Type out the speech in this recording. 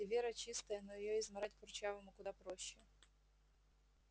и вера чистая но её измарать курчавому куда проще